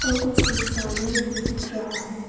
और कुछ इंसाने भी दिख रहा है।